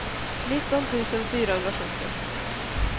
nitton tusen fyrahundrasjuttio